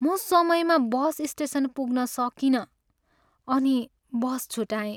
म समयमा bus station पुग्न सकिनँ अनि बस छुटाएँ।